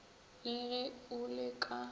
le ge o le ka